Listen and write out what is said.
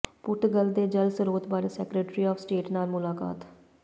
ਪੁਰਤਗਾਲ ਦੇ ਜਲ ਸਰੋਤ ਬਾਰੇ ਸੈਕਟਰੀ ਆਫ ਸਟੇਟ ਨਾਲ ਮੁਲਾਕਾਤ